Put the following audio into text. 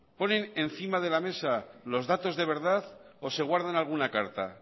ponen encima de la mesa los datos de verdad o se guardan alguna carta